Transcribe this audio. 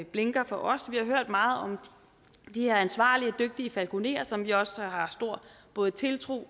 blinker for os vi har hørt meget om de her ansvarlige og dygtige falkonerer som vi også har stor både tiltro